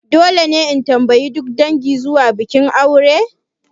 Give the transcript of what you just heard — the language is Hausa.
Dole ne in tambayi duk dangi zuwa bikin aure?